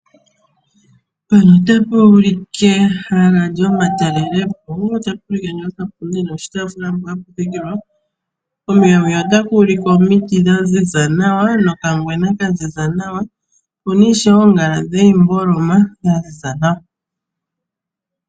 Otapu ulike ehala lyomatalelepo pu na oshipundi noshitaafula mpoka hapu thikilwa, kombinga onkwawo otaku ulike omiti dha ziza nawa nokangwena ka ziza nawa. Opu na ishewe oongala dhiimboloma dha ziza nawa.